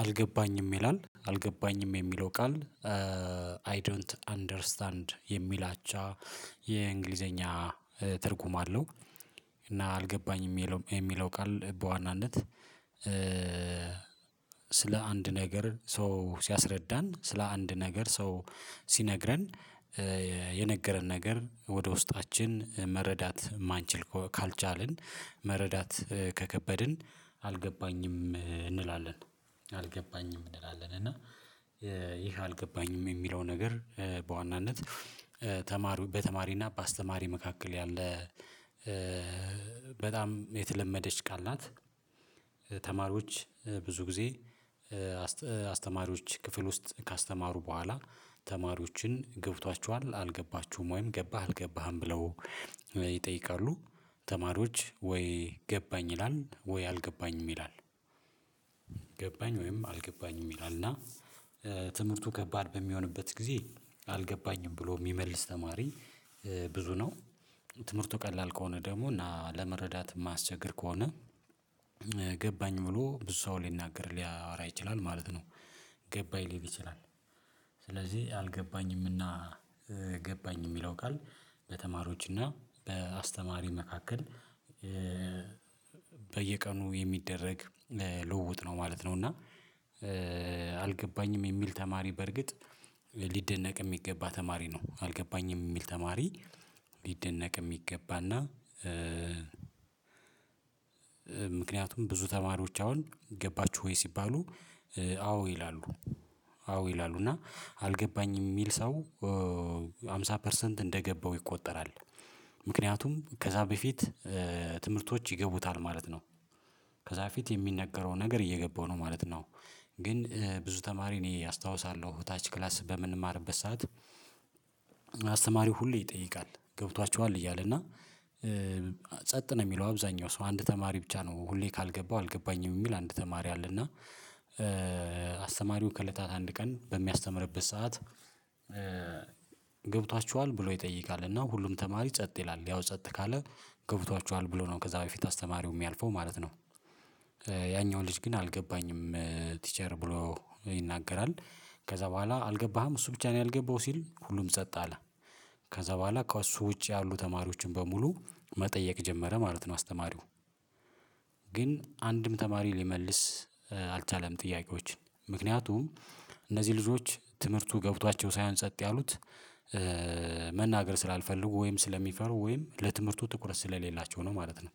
አልገባኝም ይላል አልገባኝም የሚለው ቃል አይ ዶንት አንደርስታንድ የሚል አቻ የእንግሊዘኛ ትርጉም አለው። እና አልገባኝም የሚለው ቃል በዋናነት ስለ አንድ ነገር ሰው ሲያስረዳን ስለ አንድ ነገር ሰው ሲነግረን የነገረን ነገር ወደ ውስጣችን መረዳት የማንችል ካልቻልን መረዳት ከከበድን አልገባኝም እንላለን። አልገባኝም እንላለን እና ይህ አልገባኝም የሚለው ነገር በዋናነት ተማሪ በተማሪና በአስተማሪ መካከል ያለ በጣም የተለመደች ቃል ናት። ተማሪዎች ብዙ ጊዜ አስተማሪዎች ክፍል ውስጥ ካስተማሩ በኋላ ተማሪዎችን ገብቷችኋል አልገባችሁም ወይም ገባህ አልገባህም ብለው ይጠይቃሉ ተማሪዎች ወይ ገባኝ ይላል ወይ አልገባኝም ይላል። ገባኝ ወይም አልገባኝም ይላል እና ትምህርቱ ከባድ በሚሆንበት ጊዜ አልገባኝም ብሎ የሚመልስ ተማሪ ብዙ ነው። ትምህርቱ ቀላል ከሆነ ደግሞ እና ለመረዳት ማያስቸገር ከሆነ ገባኝ ብሎ ብዙ ሰው ሊናገር ሊያወራ ይችላል ማለት ነው። ገባኝ ሊል ይችላል። ስለዚህ አልገባኝምና ገባኝ የሚለው ቃል በተማሪዎችና በአስተማሪ መካከል በየቀኑ የሚደረግ ልውውጥ ነው ማለት ነው። እና አልገባኝም የሚል ተማሪ በርግጥ ሊደነቅ የሚገባ ተማሪ ነው አልገባኝም የሚል ተማሪ ሊደነቅ የሚገባና ምክንያቱም ብዙ ተማሪዎች አሁን ገባችሁ ወይ ሲባሉ አዎ ይላሉ። አዎ ይላሉ እና አልገባኝም የሚል ሰው ሃምሳ ፐርሰንት እንደገባው ይቆጠራል ምክንያቱም ከዛ በፊት ትምህርቶች ይገቡታል ማለት ነው። ከዛ በፊት የሚነገረው ነገር እየገባው ነው ማለት ነው። ግን ብዙ ተማሪ እኔ አስታውሳለሁ ታች ክላስ በምንማርበት ሰዓት አስተማሪው ሁሌ ይጠይቃል ገብቷችኋል እያለ እና ጸጥ ነው የሚለው አብዛኛው ሰው አንድ ተማሪ ብቻ ነው ሁሌ ካልገባው አልገባኝም የሚል አንድ ተማሪ አለ እና አስተማሪውን ከእለታት አንድ ቀን በሚያስተምርበት ሰዓት ገብቷችኋል ብሎ ይጠይቃል እና ሁሉም ተማሪ ጸጥ ይላል ያው ጸጥ ካለ ገብቷችኋል ብሎ ነው? ከዛ በፊት አስተማሪው የሚያልፈው ማለት ነው። ያኛው ልጅ ግን አልገባኝም ቲቸር ብሎ ይናገራል ከዛ በኋላ አልገባህም እሱ ብቻ ነው ያልገባው ሲል ሁሉም ጸጥ አለ። ከዛ በኋላ ከእሱ ውጪ ያሉ ተማሪዎችን በሙሉ መጠየቅ ጀመረ ማለት ነው። አስተማሪው ግን አንድም ተማሪ ሊመልስ አልቻለም ጥያቄዎችን ምክንያቱም እነዚህ ልጆች ትምህርቱ ገብቷቸው ሳይሆን ጸጥ ያሉት መናገር ስላልፈልጉ ወይም ስለሚፈሩ ወይም ለትምህርቱ ትኩረት ስለሌላቸው ነው ማለት ነው።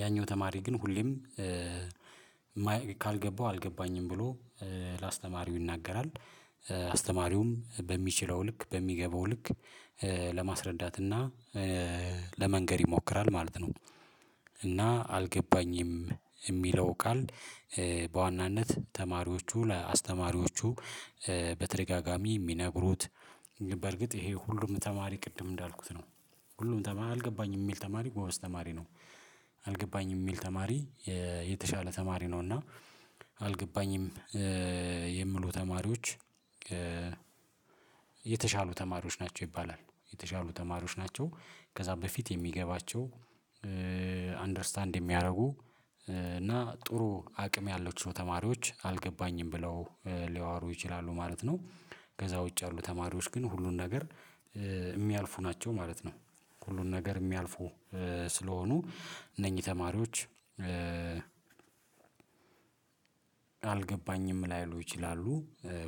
ያኛው ተማሪ ግን ሁሌም ካልገባው አልገባኝም ብሎ ለአስተማሪው ይናገራል አስተማሪውም በሚችለው ልክ በሚገባው ልክ ለማስረዳት እና ለመንገር ይሞክራል ማለት ነው። እና አልገባኝም የሚለው ቃል በዋናነት ተማሪዎቹ ለአስተማሪዎቹ በተደጋጋሚ የሚነግሩት በርግጥ ይሄ ሁሉም ተማሪ ቅድም እንዳልኩት ነው። ሁሉም ተማሪ አልገባኝም የሚል ተማሪ ጎበዝ ተማሪ ነው። አልገባኝም የሚል ተማሪ የተሻለ ተማሪ ነው እና አልገባኝም የምሉ ተማሪዎች የተሻሉ ተማሪዎች ናቸው ይባላል። የተሻሉ ተማሪዎች ናቸው ከዛ በፊት የሚገባቸው አንደርስታንድ የሚያደርጉ እና ጥሩ አቅም ያላቸው ተማሪዎች አልገባኝም ብለው ሊያወሩ ይችላሉ ማለት ነው። ከዛ ውጭ ያሉ ተማሪዎች ግን ሁሉን ነገር የሚያልፉ ናቸው ማለት ነው። ሁሉን ነገር የሚያልፉ ስለሆኑ እነኚህ ተማሪዎች አልገባኝም ላይሉ ይችላሉ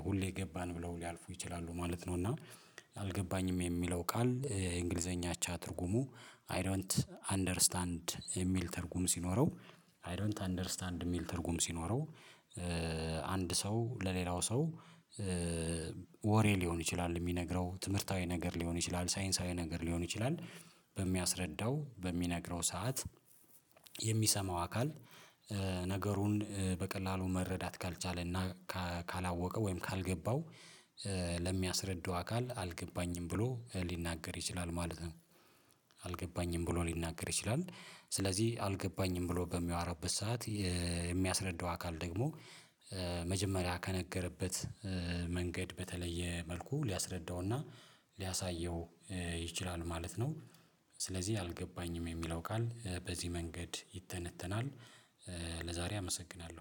ሁሌ ገባን ብለው ሊያልፉ ይችላሉ ማለት ነው። እና አልገባኝም የሚለው ቃል የእንግሊዘኛ አቻ ትርጉሙ አይ ዶንት አንደርስታንድ የሚል ትርጉም ሲኖረው አይ ዶንት አንደርስታንድ የሚል ትርጉም ሲኖረው። አንድ ሰው ለሌላው ሰው ወሬ ሊሆን ይችላል የሚነግረው ትምህርታዊ ነገር ሊሆን ይችላል ሳይንሳዊ ነገር ሊሆን ይችላል በሚያስረዳው በሚነግረው ሰዓት የሚሰማው አካል ነገሩን በቀላሉ መረዳት ካልቻለና ካላወቀ ወይም ካልገባው ለሚያስረዳው አካል አልገባኝም ብሎ ሊናገር ይችላል ማለት ነው። አልገባኝም ብሎ ሊናገር ይችላል ስለዚህ አልገባኝም ብሎ በሚያወራበት ሰዓት የሚያስረዳው አካል ደግሞ መጀመሪያ ከነገረበት መንገድ በተለየ መልኩ ሊያስረዳውና ሊያሳየው ይችላል ማለት ነው። ስለዚህ አልገባኝም የሚለው ቃል በዚህ መንገድ ይተነተናል። ለዛሬ አመሰግናለሁ